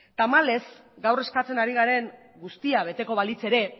tamalez gaur eskatzen ari garen guztia beteko balitz ere